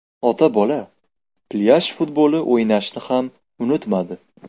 Ota-bola plyaj futboli o‘ynashni ham unutmadi.